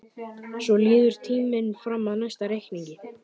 Svo líður tíminn fram að næsta reikningi.